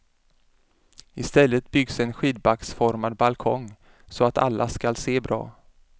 I stället byggs en skidbacksformad balkong, så att alla ska se bra.